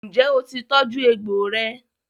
ǹjẹ́ ó ti tọ́jú egbò rẹ?